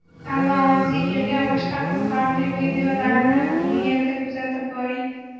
Tanlovimizga kelgan boshqa qiziqarli videolarni bu erda kuzatib boring.